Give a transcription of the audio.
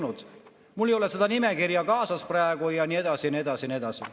tal ei ole seda nimekirja kaasas praegu, ja nii edasi ja nii edasi.